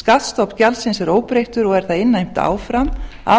skattstofn gjaldsins er óbreyttur og er það innheimt áfram af